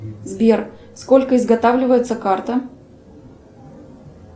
сбер сколько изготавливается карта